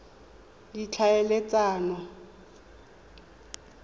ditlhaeletsano